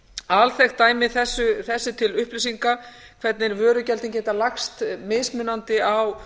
alþekkt dæmi þessu til upplýsingar hvernig vörugjöldin geta lagst mismunandi á